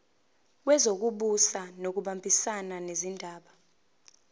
wezokubusa ngokubambisana nezindaba